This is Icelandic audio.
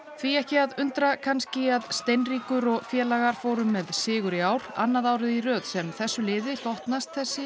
því ekki að undra kannski að Steinríkur og félagar fóru með sigur í ár annað árið í sem þessu liði hlotnast þessi